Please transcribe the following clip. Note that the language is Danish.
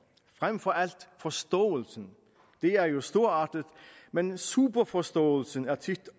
frem for alt forståelsen det er jo storartet men superforståelsen er tit